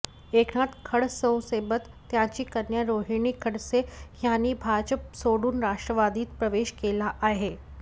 एकनाथ खडसेंसोबत त्यांची कन्या रोहिणी खडसे यांनीही भाजप सोडून राष्ट्रवादीत प्रवेश केला आहे